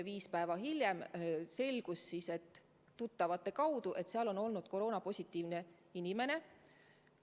Viis päeva hiljem selgus tuttavate kaudu, et seal on osalenud koroona-positiivne inimene.